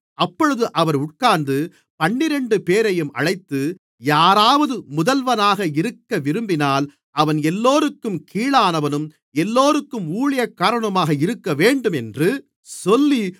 அப்பொழுது அவர் உட்கார்ந்து பன்னிரண்டுபேரையும் அழைத்து யாராவது முதல்வனாக இருக்கவிரும்பினால் அவன் எல்லோருக்கும் கீழானவனும் எல்லோருக்கும் ஊழியக்காரனுமாக இருக்கவேண்டும் என்று சொல்லி